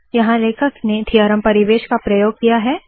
यहाँ लेखक ने थीअरम परिवेश का प्रयोग किया है